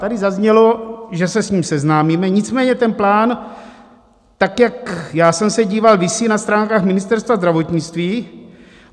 Tady zaznělo, že se s ním seznámíme, nicméně ten plán, tak jak já jsem se díval, visí na stránkách Ministerstva zdravotnictví.